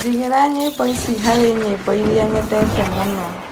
jigīra nyīmbo ici harī nyīmbo īria nyendete mūno